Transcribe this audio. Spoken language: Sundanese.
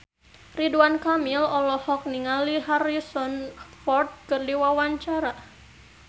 Ridwan Kamil olohok ningali Harrison Ford keur diwawancara